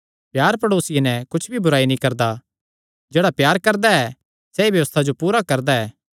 प्यार प्ड़ेसिये नैं कुच्छ भी बुराई नीं करदा जेह्ड़ा प्यार करदा ऐ सैई व्यबस्था जो पूरा करदा ऐ